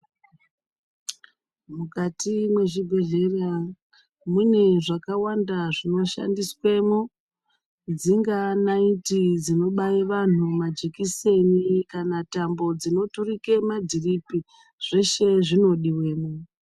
Mukati mezvibhedhleraune zvakawanda zvinoshandiswemo dzingava naiti dzinobaya vanhu majekiseni kana tambo dzinoturika madhiripi zveshe zvinodiwamo.